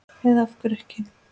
Eða af hverju ekki?